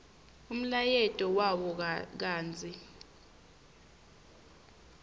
umlayeto wawo kantsi